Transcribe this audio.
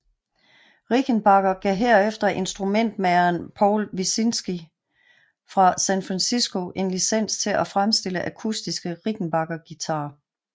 Rickenbacker gav herefter instrumentmageren Paul Wilczynski fra San Francisco en licens til af fremstille akustiske Rickenbacker guitarer